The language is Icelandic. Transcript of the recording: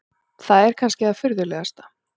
Það er kannski það furðulegasta.